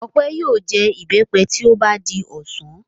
Ọpẹ́ yóò jẹ ìbẹ́pẹ tí ó bá di ọ̀sán.